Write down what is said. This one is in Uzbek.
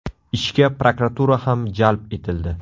Ishga prokuratura ham jalb etildi.